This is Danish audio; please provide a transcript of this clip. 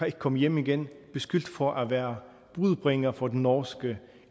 ikke komme hjem igen beskyldt for at være budbringer for den norske